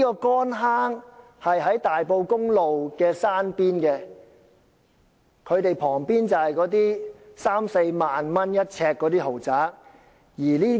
乾坑村位於大埔公路山邊，旁邊是一些三四萬元一呎的豪宅。